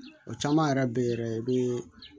O caman yɛrɛ bɛ ye yɛrɛ i bɛ